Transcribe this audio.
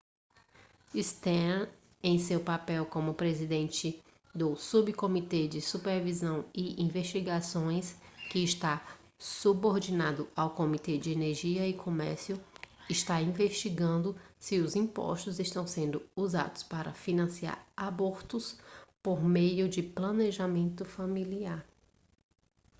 stearns em seu papel como presidente do subcomitê de supervisão e investigações que está subordinado ao comitê de energia e comércio está investigando se os impostos estão sendo usados para financiar abortos por meio do planejamento familiar